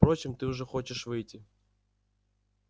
впрочем ты уже хочешь выйти